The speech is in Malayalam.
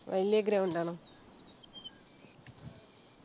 വലിയ ground ആണോ